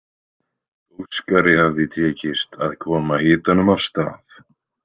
Óskari hafði tekist að koma hitanum af stað.